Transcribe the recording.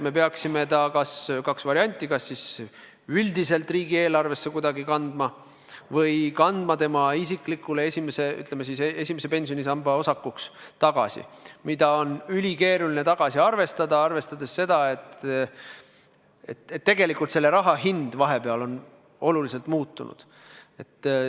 Järelikult on kaks varianti: me peaksime selle kas üldiselt riigieelarvesse kuidagi kandma või kandma inimese isiklikuks esimese pensionisamba osakuks, mida on ülikeeruline tagasi arvestada, arvestades seda, et raha väärtus on vahepeal oluliselt muutunud.